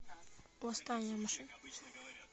восстание машин